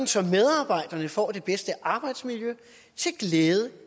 så medarbejderne får det bedste arbejdsmiljø til glæde